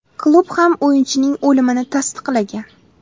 Klub ham o‘yinchining o‘limini tasdiqlagan.